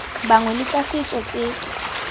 bangwe le tsa setso tse